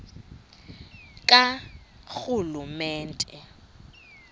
karhulumente